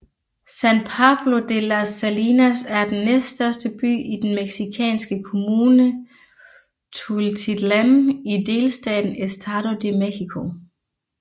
San Pablo de las Salinas er den næststørste by i den mexikanske kommune Tultitlán i delstaten Estado de México